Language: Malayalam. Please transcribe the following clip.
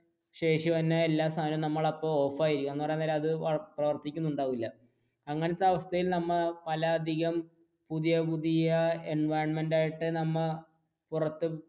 ശേഷി വന്ന എല്ലാ സാധനവും ഓഫായിരിക്കും. എന്ന് പറയാൻ നേരം അത് പ്രവർത്തിക്കുന്നുണ്ടാവില്ല അങ്ങനത്തെ അവസ്ഥയിൽ നമ്മൾ പല അധികം പുതിയ പുതിയ environment ആയിട്ട് നമ്മ പുറത്തു